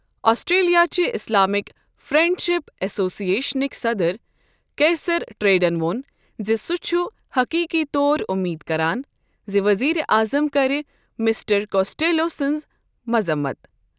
Australia چِہ Islamic friendship ایسوسی ایشنٕکۍ صدر کیسر ٹریڈَن ووٚن زِ سُہ چھُ حقیٖقی طور امید کران زِ وزیٖرِ اعظم کَرِ مسٹر کوسٹیلو سٕنٛز مَذمَت۔